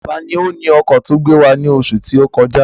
Tani ó ni ọkọ̀ ti ọ gbé wá ní oṣù tó kọjá?